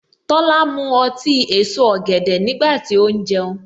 Tola mu ọtí èso ọ̀gẹ̀dẹ̀ nígbà tí ó ń jẹun.